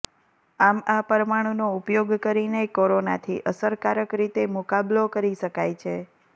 આમ આ પરમાણું નો ઉપયોગ કરીને કોરોનાથી અસરકારક રીતે મુકાબલો કરી શકાય છે